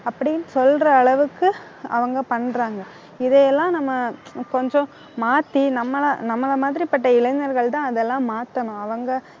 அப்படின்னு சொல்ற அளவுக்கு அவங்க பண்றாங்க. இதையெல்லாம் நம்ம கொஞ்சம் மாத்தி நம்மள நம்மள மாதிரிபட்ட இளைஞர்கள் தான் அதெல்லாம் மாத்தணும். அவங்க